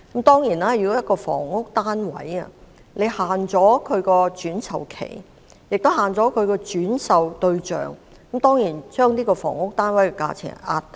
當然，如果限制一個房屋單位的轉售期和轉售對象，便會壓低該房屋單位的價錢。